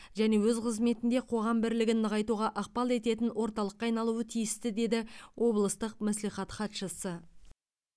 және өз қызметінде қоғам бірлігін нығайтуға ықпал ететін орталыққа айналуы тиісті деді облыстық мәслихат хатшысы